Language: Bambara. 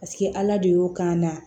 Paseke ala de y'o k'an na